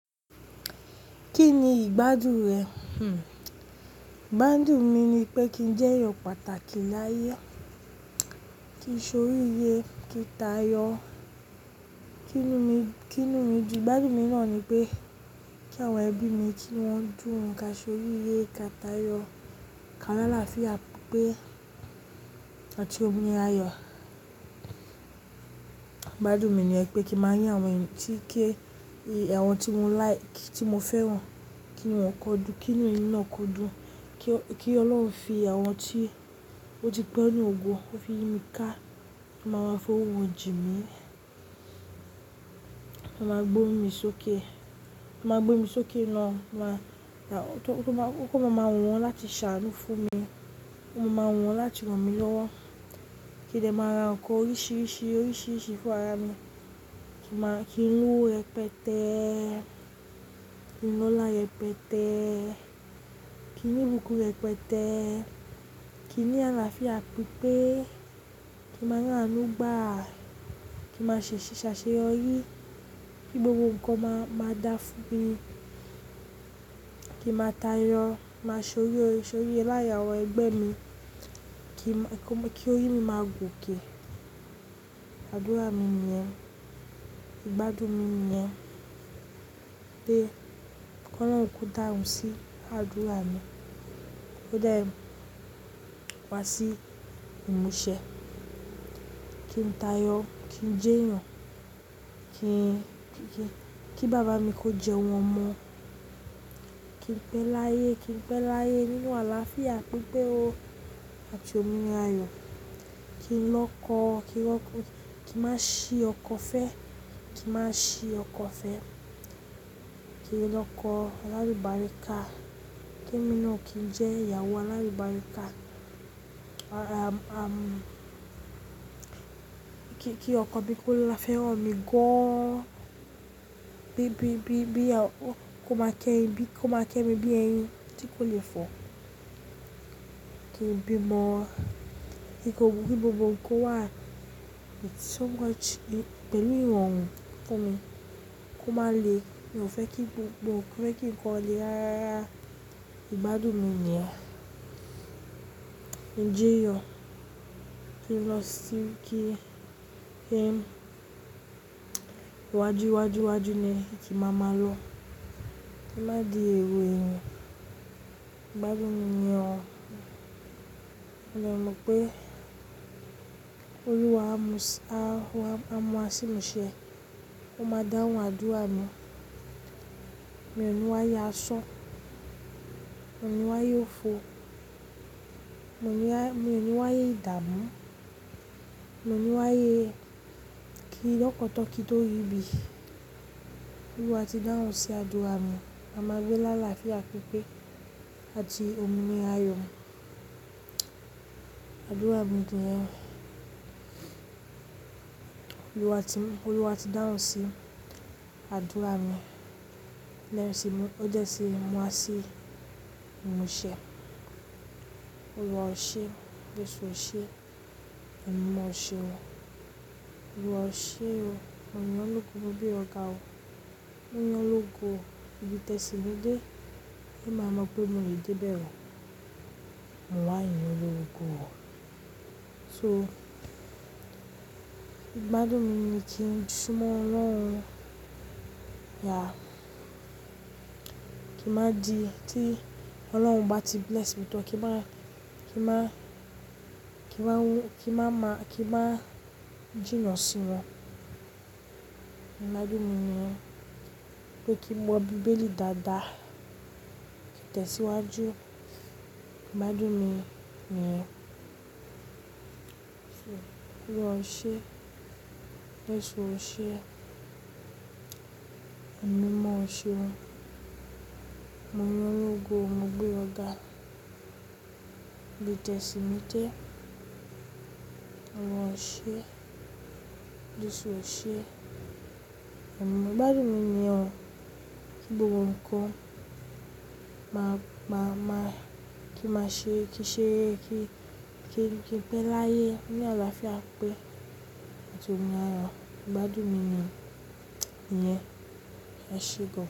Kí ni ìgbádùn rẹ? Hmm. Ìgbádùn mi ni pé kí n jẹ́ èèyàn pàtàkì láàyè. Ki n sóríre, kí n tayọ. Kí nù mi dùn. Ìgbádùn mi náà ni pé kí àwọn ẹbí mi kí wọ́n dùn, kí a sóríre, kí a tayọ, ká lá àlàáfíà pípé àti òmìnira ayọ̀. Ìgbádùn mi ni pé kí máa yàn àwọn tí ké, àwọn tí mo like, tí mo fẹ́ ran kí wọ́n kó dùn, kí nù mi náà kó dùn. Kí, kí Ọlọ́run fi àwọn tí ó ti pẹ́ ní ògo, ó fi mí ká, máa fi owó jù mí. Ma gbé mi sókè. Ma gbé mi sókè lọ́, máa, kó má, kó máa mọ̀ wọ́n láti ṣàánú fún mi. Kó máa mọ̀ wọ́n láti ràn mí lọ́wọ́. Kí nìyẹn máa ra ǹkan oríṣìíríṣìí, oríṣìíríṣìí fún ara mi. Kí màá, kí ń lowo rẹpẹtẹ́. Kí n lola rẹpẹtẹ́. Kí n ní ibùkún rẹpẹtẹ́. Kí n ní àlàáfíà pípé. Kí màá ri àánú gbá. Kí màá ṣe ṣíṣàṣeyọrí. Gbogbo ǹkan máa, máa dá fún mi. Kí màá tayọ. Máa sóríye, sóríye láyé àwọn ẹgbẹ́ mi. Kí, kí oyún mi máa gòkè. Àdúrà mi nìyẹn. Ìgbádùn mi nìyẹn pé kó lọrun kú dáhùn sí àdúrà mi. Ó dá ẹ wá sí ìmúṣẹ. Kí n tayọ. Kí n jẹ́ èèyàn. Kí, kí bàbá mi kó jẹun omọ́. Kí n pẹ́ láàyè. Kí n pẹ́ láàyè nínú àlàáfíà pípé àti òmìnira ayọ̀. Kí n lọkọ, kí n lọ, kí màá ṣí ọkọ fẹ́. Kí màá ṣí ọkọ fẹ́. Kí n lọkọ alalu bari ká. Kí mi náà kí n jẹ́ ìyàwó alalubari ká. À, àm, kí, kí ọkọ bí kò lè feranmi mi gọ́n. Bí, bí, bí, bí kò máa ké mi bí eyin tí kò lè fọ̀. Kí n bí ọmọ. Kí gbogbo nǹkan wà ní tó ga ju, pẹ̀lú ìrọ̀-oòrùn fún mi. Kó máa le, mo fẹ́ kí gbogbo, mo fẹ́ kí ǹkan ó le rárá. Ìgbádùn mi nìyẹn. Ǹjẹ́ èèyàn tí ń lọ sí kí, kí wájú, wájú, wájú ni kí màá máa lọ. Kí màá di èrò ẹ̀yin. Ìgbádùn mi nìyẹn. Mo mọ̀ pé Olúwa á mú, á mú wá sí ìmúṣẹ. Ó máa dáhùn àdúrà mi. Mo ní wáyé aṣan. Mo ní wáyé òfò. Mo ní wáyé ìdámú. Mo ní wáyé kí lọ́kọ̀tọ̀ kí ó rìbí. Olúwa ti dáhùn sí àdúrà mi. A máa gbé láàlàáfíà pípé àti òmìnira ayọ̀. Àdúrà mi nìyẹn. Olúwa ti, Olúwa ti dáhùn sí àdúrà mi. Lẹ́yìn tí ó jẹ́ ṣé ń mú wá sí ìmúṣẹ. Olúwa o ṣe. Jésù o ṣe. Ẹ̀mi mimọ o ṣe o. Olúwa o ṣe o. Mo yin ọ lọ́go mo gbé ọ ga o. Mo yim ọ lọ́go o, bí tẹ́ sí mi dé, ẹ máa mọ̀ pé mo lè dé bẹ́rẹ̀ o. Mo wá yin Olúwa o. So, ìgbádùn mi ni kí n sún mọ́ Ọlọ́run, ya. Kí màá di, tí Ọlọ́run bá ti bless mi tán, kí màá, kí màá, kí màá wú, kí màá má, kí màá jìnnà sí wọn. Ìgbádùn mi nìyẹn pé kí n wo Bibéli dáadáa, kí n tẹ̀síwájú. Ìgbádùn mi nìyẹn. Olúwa o ṣe. Jésù o ṣe. Ẹ̀mú mọ o ṣe o. Mo yin ọ lọ́go o, mo gbé ọ ga. Bí tẹ́ sí mi dé. Olúwa o ṣe. Jésù o ṣe. Ẹ̀mú mọ. Ìgbádùn mi nìyẹn. Gbogbo ǹkan máa gba, máa, kí màá ṣe, kí ṣe, kí, kí n pẹ́ láàyè nínú àlàáfíà pípé àti òmìnira ayọ̀. Ìgbádùn mi nìyẹn. Ẹ ṣé gan.